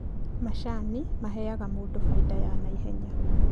Macani maheaga mũndũ faida ya naihenya